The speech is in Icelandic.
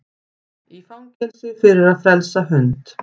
Í fangelsi fyrir að frelsa hund